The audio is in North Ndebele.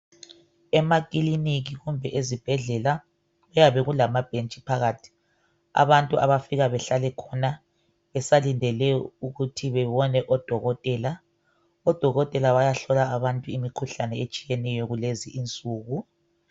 Emakilinika kumbe eziibhedlela, kuyabe kulamabhentshi phakathi abantu abafika bahlale khona besalindele ukuthi bebonwe ngudokotela . Odokotela bayahlola abantu imikhuhlane etshiyeneyo kulezi insuku.